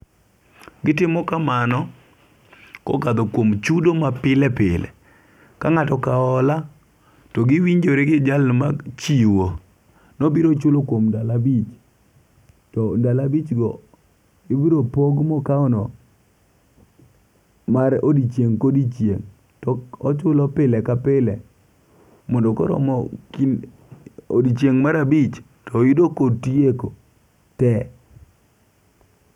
Gitimo kamano kokadho kuom chudo ma pile pile. Ka ng'ato okaw hola to giwinjore gi jal machiwo nobiro chulo kuom ndalo abich. To ndalo abich go ibiro pog mokawono mar odiochieng' ka odiochieng' to chulo pile ka pile mondo koro odiochieng' mar abich to yudo kotieko te.